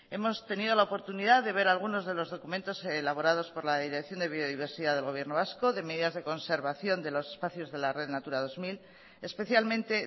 hemos tenido la oportunidad de ver algunos de los documentos elaborados por la dirección de biodiversidad del gobierno vasco de medidas de conservación de los espacios de la red natura dos mil especialmente